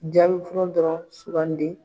Jaabi fɔlɔ dɔrɔn sugandi.